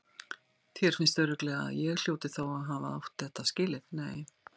Þér finnst örugglega að ég hljóti þá að hafa átt það skilið.